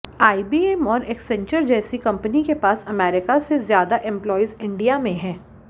IBM और Accenture जैसी कंपनियों के पास अमेरिका से ज्यादा एंप्लॉयीज इंडिया में हैं